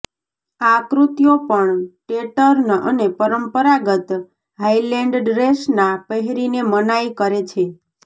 આ કૃત્યો પણ ટેર્ટન અને પરંપરાગત હાઇલેન્ડ ડ્રેસના પહેરીને મનાઈ કરે છે